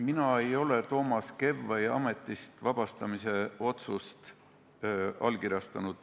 Mina ei ole Toomas Kevvai ametist vabastamise otsust allkirjastanud.